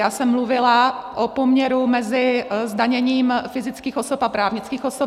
Já jsem mluvila o poměru mezi zdaněním fyzických osob a právnických osob.